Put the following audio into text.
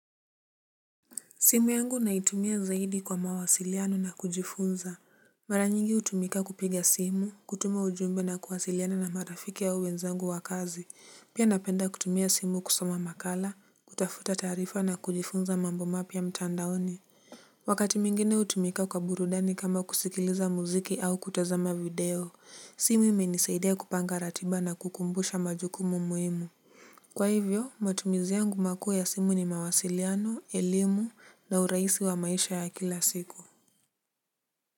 Simu yangu naitumia zaidi kwa mawasiliano na kujifunza. Maranyingi utumika kupiga simu, kutuma ujumbe na kuwasiliana na marafiki ya au wenzangu wa kazi. Pia napenda kutumia simu kusoma makala, kutafuta taarifa na kujifunza mambo mapya mtandaoni. Wakati mingine utumika kwa burudani kama kusikiliza muziki au kutazama video, simu imenisaidia kupanga ratiba na kukumbusha majukumu muhimu. Kwa hivyo matumizi yangu makuu ya simu ni mawasiliano, elimu na urahisi wa maisha ya kila siku.